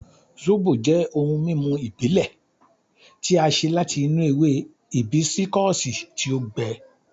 Sóbò jẹ́ ohun mímu ìbílẹ̀ tí a ṣe láti inú ewe hìbísíkọ̀sì tí ó gbẹ.